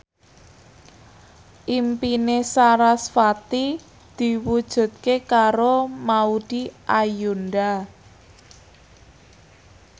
impine sarasvati diwujudke karo Maudy Ayunda